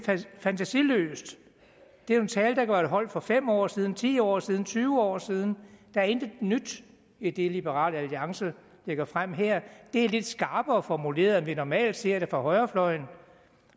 fantasiløst det er en tale have været holdt for fem år siden ti år siden tyve år siden der er intet nyt i det liberal alliance lægger frem her det er lidt skarpere formuleret end vi normalt ser det fra højrefløjen